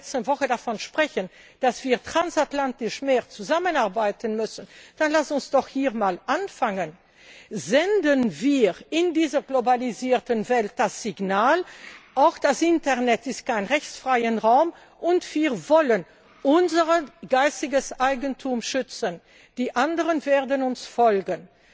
in der letzten Woche davon gesprochen haben, dass wir transatlantisch mehr zusammenarbeiten müssen, dann lassen Sie uns doch hier mal anfangen! Senden wir in dieser globalisierten Welt das Signal, auch das Internet ist kein rechtsfreier Raum, und wir wollen unser geistiges Eigentum schützen die anderen werden uns folgen!